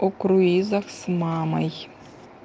о круизер с мамой